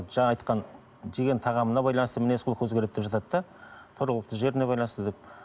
жаңа айтқан жеген тағамына байланысты мінез құлқы өзгереді деп жатады да тұрғылықты жеріне байланысты деп